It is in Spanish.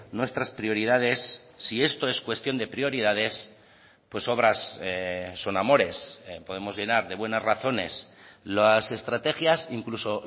nuestras prioridades si esto es cuestión de prioridades pues obras son amores podemos llenar de buenas razones las estrategias incluso